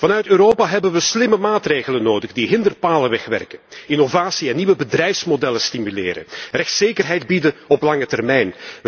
Vanuit Europa hebben we slimme maatregelen nodig die hinderpalen wegwerken, innovatie en nieuwe bedrijfsmodellen stimuleren, rechtszekerheid bieden op lange termijn.